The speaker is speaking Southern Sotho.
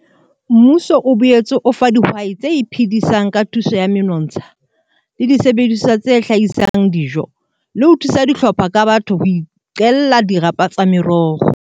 Mmuso o boetse o fa dihwai tse iphedisang ka thuso ya menotsha le disebediswa tse hlahisang dijo, le ho thusa dihlopha ka batho ho iqella dirapa tsa meroho.